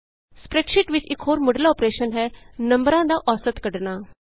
spreadsheet ਵਿਚ ਇਕ ਹੋਰ ਮੁੱਢਲਾ ਅੋਪਰੈਸ਼ਨ ਹੈ ਨੰਬਰਾਂ ਦੀ ਅੋਸਤ ਐਵਰੇਜ ਕੱਢਣਾ